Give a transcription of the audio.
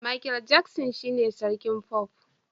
Makel Jaksin shine sarkin fof